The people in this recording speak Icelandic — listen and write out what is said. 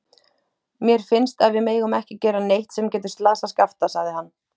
Mér finnst að við megum ekki gera neitt sem getur slasað Skapta, sagði hann.